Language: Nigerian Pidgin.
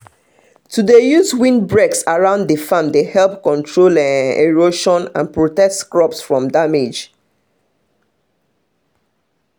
to dey use windbreaks around the farm dey help control erosion and ptotect crops from damage